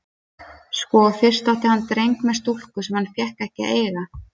Sko, fyrst átti hann dreng með stúlku sem hann fékk ekki að eiga.